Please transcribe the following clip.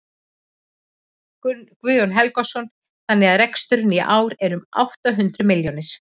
Guðjón Helgason: Þannig að reksturinn í ár er um átta hundruð milljónir?